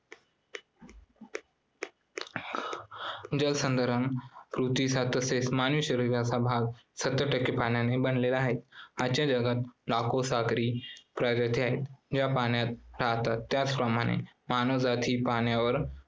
जलसंधारण पृथ्वीचा तसेच मानवी शरीराचा भाग सत्तर टक्के पाण्याने बनलेला आहे. आजच्या जगात लाखो सागरी प्रजाती आहेत ज्या पाण्यात राहतात त्याच प्रमाणे मानवजात ही पाण्यावर